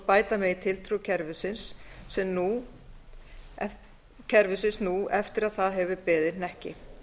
bæta megi tiltrú kerfisins sem nú eftir að það hefur beðið hnekki